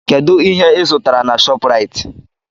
Kedụ ihe ịzụtara na Shọpraịt?